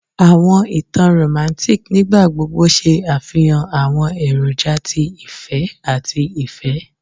Awọn itan Romantic nigbagbogbo ṣe afihan awọn eroja ti ifẹ ati ifẹ